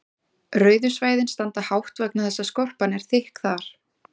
rauðu svæðin standa hátt vegna þess að skorpan er þykk þar